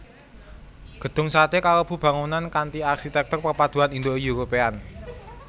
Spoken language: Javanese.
Gedhung Satè kalebu bangunan kanthi arsitéktur perpaduan Indo European